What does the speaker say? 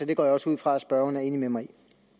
det går jeg også ud fra at spørgeren er enig med mig